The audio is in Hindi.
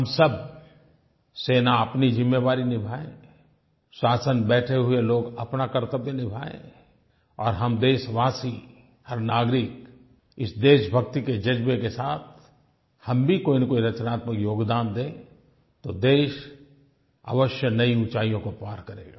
हम सब सेना अपनी ज़िम्मेवारी निभाए शासन बैठे हुए लोग अपना कर्तव्य निभाएँ और हम देशवासी हर नागरिक इस देशभक्ति के जज़्बे के साथ हम भी कोईनकोई रचनात्मक योगदान दें तो देश अवश्य नई ऊंचाइयों को पार करेगा